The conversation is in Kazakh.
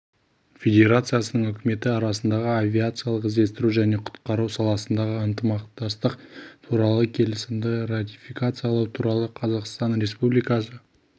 федерациясының үкіметі арасындағы авиациялық іздестіру және құтқару саласындағы ынтымақтастық туралы келісімді ратификациялау туралы қазақстан республикасы